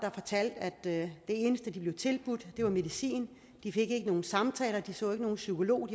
fortalte at det eneste de blev tilbudt var medicin de fik ikke nogen samtaler og de så ikke nogen psykolog